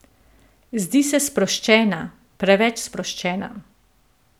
Zdi se sproščena, preveč sproščena.